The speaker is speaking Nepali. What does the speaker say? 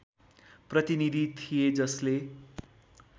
प्रतिनीधि थिए जसले